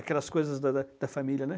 Aquelas coisas da da da família, né?